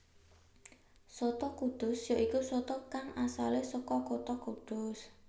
Soto kudus ya iku soto kang asalé saka kutha Kudus